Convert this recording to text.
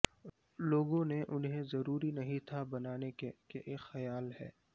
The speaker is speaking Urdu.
لوگوں نے انہیں ضروری نہیں تھا بنانے کے کہ ایک خیال ہے